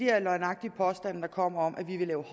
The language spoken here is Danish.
er løgnagtige påstande der kommer om at vi vil have